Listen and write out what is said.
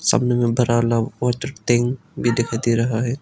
सामने में ब्रॉन्हम और तृप्तिग भी दिखाई दे रहा है।